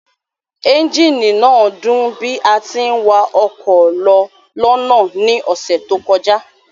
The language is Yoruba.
Ẹ́ńjíìnì náà dún bí a tí ń wa ọkọ̀ lọ lọ́nà ní ọ̀sẹ̀ tó kọjá